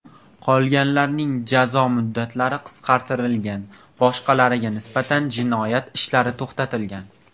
Qolganlarning jazo mudddatlari qisqartirilgan, boshqalariga nisbatan jinoyat ishlari to‘xtatilgan.